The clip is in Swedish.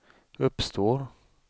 uppstår